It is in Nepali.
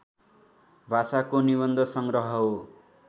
भाषाको निबन्धसंग्रह हो